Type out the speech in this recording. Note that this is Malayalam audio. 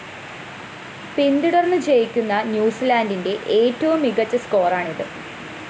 പിന്തുടര്‍ന്ന്‌ ജയിക്കുന്ന ന്യൂസിലാന്റിന്റെ ഏറ്റവും മികച്ച സ്കോറാണിത്‌